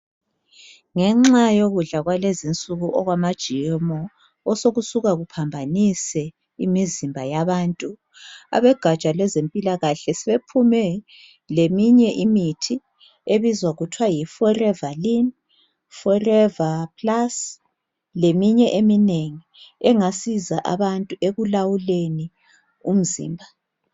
ngenxa yokudla kwalezinsuku okwama GMO osokusuka kuphambanise imizimba yabantu abegatsha lwezempilakahle sebephume leminye imithi ebizwa kuthi we yi Forever lin forever plus leminye eminengi engasiza abantu ekulawuleni umzimba